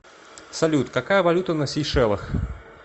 салют какая валюта на сейшелах